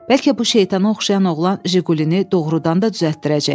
Bəlkə bu şeytana oxşayan oğlan Jiqulini doğrudan da düzəltdirəcək?